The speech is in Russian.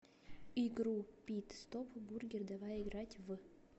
игру пит стоп бургер давай играть в